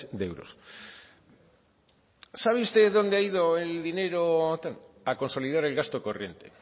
de euros sabe usted dónde ha ido el dinero a consolidar el gasto corriente